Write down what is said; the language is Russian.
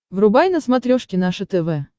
врубай на смотрешке наше тв